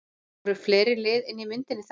Voru fleiri lið inni í myndinni þá?